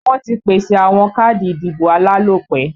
Wọ́n ti pèsè àwọn káàdì ìdìbò alálòpẹ́